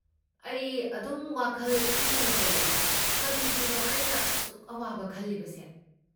ꯑꯩ ꯑꯗꯨꯝ ꯋꯥꯈꯜ ꯈꯟꯗꯨꯅꯇ ꯂꯩ, ꯀꯔꯤꯒꯤꯅꯣ ꯑꯩꯅ ꯑꯁꯨꯛ ꯑꯋꯥꯕ ꯈꯜꯂꯤꯕꯁꯦ꯫